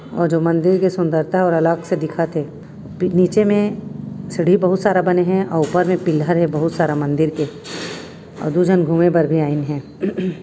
और जो मंदिर की सुंदरता अलग से दिखत हे नीचे मे सीढ़ी बहुत सारा बने हे उ ऊपर मे पिल्हर हे बहुत सारा मंदिर के आउ दू झन घूमे बर भी आइन हे।